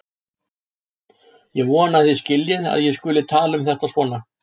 Ég vona að þið skiljið að ég skuli tala um þetta svona.